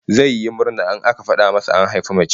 Zai yi murna in aka fada masa an haifi mace